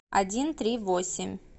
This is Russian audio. один три восемь